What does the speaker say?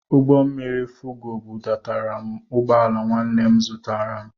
Ụgbọmmiri Fugo bụdatara m ugbọala nwanne m zitere m.